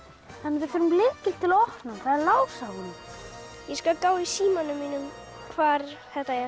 við þurfum lykil til að opna hann það er lás á honum ég skal gá í símanum mínum hvar þetta er